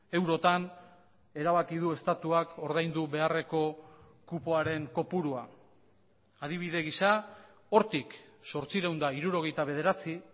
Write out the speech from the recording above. eurotan erabaki du estatuak ordaindu beharreko kupoaren kopurua adibide gisa hortik zortziehun eta hirurogeita bederatzi